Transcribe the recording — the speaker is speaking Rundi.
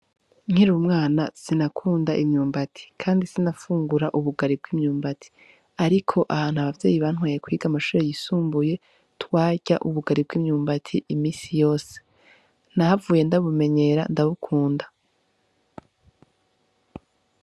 Nkiriumwana sinakunda imyumbati, kandi sinafungura ubugari bw'imyumbati, ariko ahantu abavyeyi bantwaye kwiga amashure yisumbuye twarya ubugari bw'imyumbati imisi yose nahavuye ndabumenyera ndabukunda.